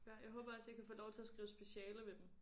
Ja jeg håber også jeg kan få lov til at skrive speciale ved dem